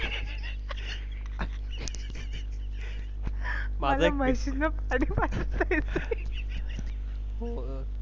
माझ्या म्हशी न .